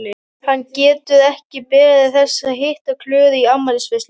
Hann getur ekki beðið þess að hitta Klöru í afmælisveislunni!